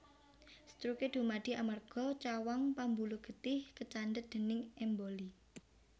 Stroke dumadi amarga cawang pambuluh getih kacandhet déning emboli